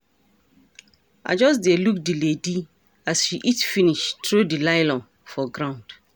I just dey look the lady as she eat finish throw the nylon for ground